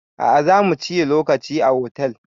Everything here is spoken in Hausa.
A'a zamu ciyi lokaci a hotel